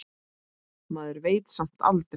Maður veit samt aldrei.